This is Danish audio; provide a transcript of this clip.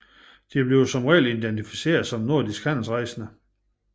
De bliver i reglen identificeret som nordiske handelsrejsende